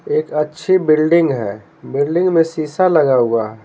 एक अच्छी बिल्डिंग है बिल्डिंग में शीशा लगा हुआ है।